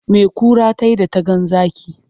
Me kura ta yi da ta ga zaki?